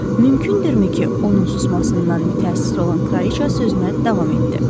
Mümkündürmü ki, onun susmasından mütəəssir olan kraliçə sözünə davam etdi.